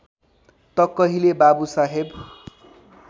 त कहिले बाबुसाहेब